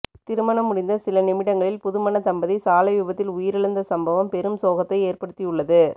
திருமணம் முடிந்த சில நிமிடங்களில் புதுமண தம்பதி சாலை விபத்தில் உயிரிழந்த சம்பவம் பெரும் சோகத்தை ஏற்படுத்தியுள்ளது